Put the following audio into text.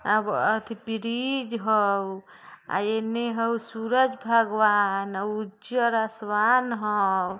आवो अथी ब्रिज हयो यॉ येने हयो सूरज भगवान उजर् आसमान हयो|